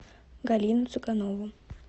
галину цыганову